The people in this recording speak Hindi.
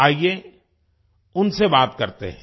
आइए उनसे बात करते हैं